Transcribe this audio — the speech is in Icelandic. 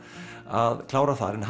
að klára þar en